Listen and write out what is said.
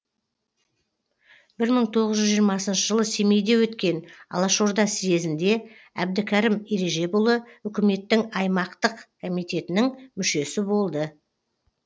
бір мың тоғыз жүз жиырмасыншы жылы семейде өткен алашорда съезінде әбдікерім ережепұлы үкіметтің аймақтық комитетінің мүшесі болды